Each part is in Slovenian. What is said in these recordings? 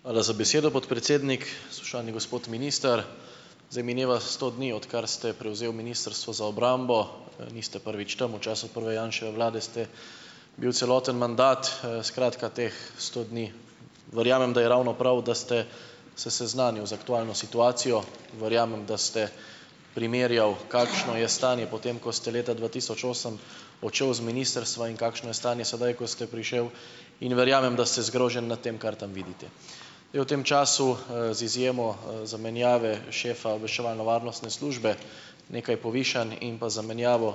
Hvala za besedo, podpredsednik. Spoštovani gospod minister! Zdaj mineva sto dni, odkar ste prevzel Ministrstvo za obrambo. Niste prvič tam. V času prve Janševe vlade ste bil celoten mandat. Skratka, teh sto dni verjamem, da je ravno prav, da ste se seznanil z aktualno situacijo. Verjamem, da ste primerjal, kakšno je stanje po tem, ko ste leta dva tisoč osem odšel z ministrstva in kakšno je stanje sedaj, ko ste prišel, in verjamem, da ste zgrožen nad tem, kar tam vidite. Je v tem času, z izjemo, zamenjave šefa obveščevalno-varnostne službe nekaj povišanj in pa zamenjavo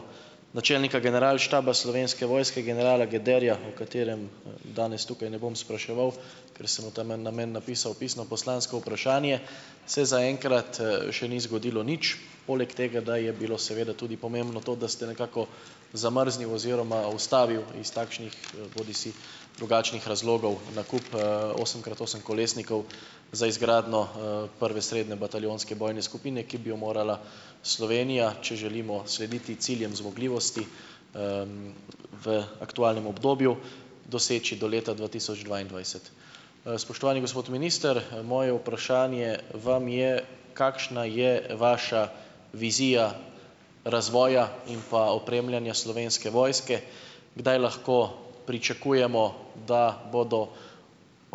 načelnika Generalštaba Slovenske vojske generala Gederja, o katerem, danes tukaj ne bom spraševal, ker sem v ta namen napisal pisno poslansko vprašanje, se zaenkrat, še ni zgodilo nič. Poleg tega, da je bilo seveda tudi pomembno to, da ste nekako zamrznil oziroma ustavil iz takšnih, bodisi drugačnih razlogov nakup, osem krat osem kolesnikov za izgradnjo, prve srednje bataljonske vojne skupine, ki bi jo morala Slovenija, če želimo slediti ciljem zmogljivosti, v aktualnem obdobju doseči do leta dva tisoč dvaindvajset. Spoštovani gospod minister! Moje vprašanje vam je: Kakšna je vaša vizija razvoja in pa opremljanja Slovenske vojske? Kdaj lahko pričakujemo, da bodo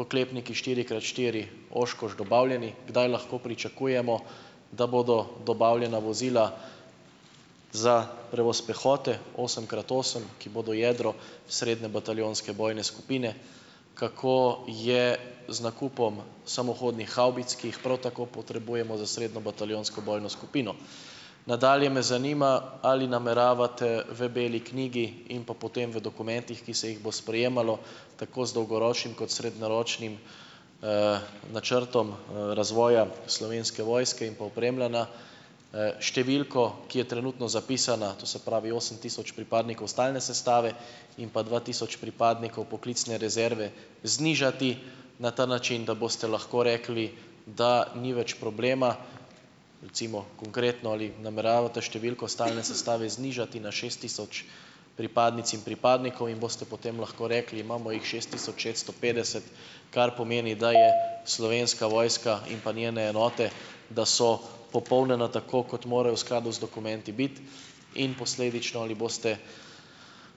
oklepniki štiri krat štiri Oshkosh dobavljeni? Kdaj lahko pričakujemo, da bodo dobavljena vozila za prevoz pehote osem krat osem, ki bodo jedro srednje bataljonske vojne skupine? Kako je z nakupom samohodnih havbic, ki jih prav tako potrebujemo za srednjo bataljonsko vojno skupino? Nadalje me zanima, ali nameravate v beli knjigi in pa potem v dokumentih, ki se jih bo sprejemalo, tako z dolgoročnim kot srednjeročnim, načrtom, razvoja Slovenske vojske in pa opremljanja, številko, ki je trenutno zapisana, to se pravi osem tisoč pripadnikov stalne sestave in pa dva tisoč pripadnikov poklicne rezerve, znižati na ta način, da boste lahko rekli, da ni več problema, recimo, konkretno, ali nameravate številko stalne sestave znižati na šest tisoč pripadnic in pripadnikov in boste potem lahko rekli: "Imamo jih šest tisoč šeststo petdeset, kar pomeni, da je Slovenska vojska in pa njene enote, da so popolnjene tako, kot mora v skladu z dokumenti biti." In posledično ali boste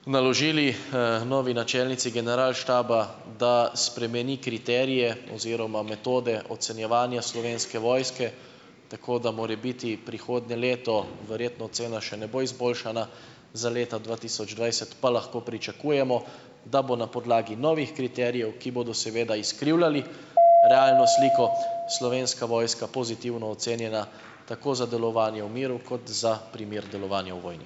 naložili, novi načelnici generalštaba, da spremeni kriterije oziroma metode ocenjevanja Slovenske vojske tako, da morebiti prihodnje leto verjetno ocena še ne bo izboljšana, za leta dva tisoč dvajset pa lahko pričakujemo, da bo na podlagi novih kriterijev, ki bodo seveda izkrivljali realno sliko, Slovenska vojska pozitivno ocenjena, tako za delovanje v miru kot za primer delovanja v vojni?